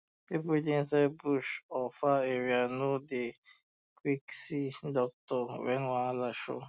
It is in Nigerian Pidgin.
people wey dey for inside um bush or far area no dey quick see um doctor when wahala show